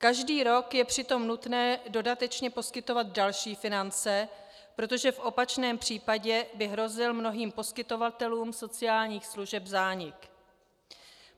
Každý rok je přitom nutné dodatečně poskytovat další finance, protože v opačném případě by hrozil mnohým poskytovatelům sociálních služeb zánik.